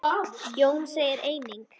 Jón segir einnig